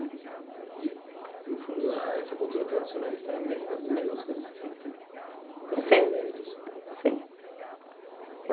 No fundo, a essa cultura tradicionalista é as mesmas mesmas coisas que você no Rio Grande do Sul. Sim